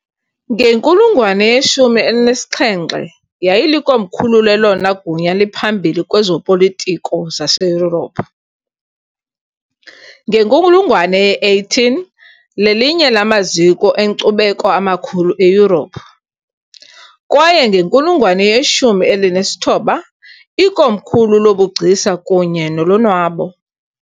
Ngenkulungwane yeshumi elinesixhenxe, yayilikomkhulu lelona gunya liphambili kwezopolitiko zaseYurophu, ngenkulungwane ye-18, lelinye lamaziko enkcubeko amakhulu eYurophu, Kwaye ngenkulungwane yeshumi elinesithoba, ikomkhulu lobugcisa kunye nolonwabo.